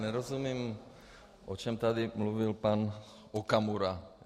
Nerozumím, o čem tady mluvil pan Okamura.